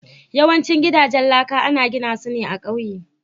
Yawancin gidajen laka ana gina su ne a ƙauye.